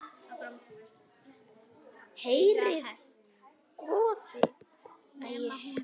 Heyrðu góði.